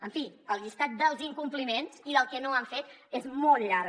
en fi el llistat dels incompliments i del que no han fet és molt llarg